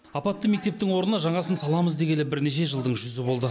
апатты мектептің орнына жаңасын саламыз дегелі бірнеше жылдың жүзі болды